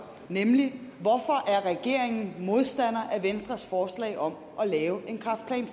nemlig hvorfor regeringen er modstander af venstres forslag om at lave en kræftplan